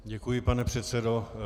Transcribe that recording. Děkuji, pane předsedo.